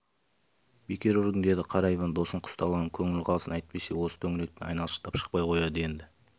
бекер ұрдың деді қара иван досын күстаналап көңілі қалсын әйтпесе осы төңіректен айналшықтап шықпай қояды енді